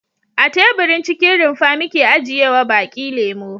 A teburin cikin rumfa muke ajiyewa baki lemo.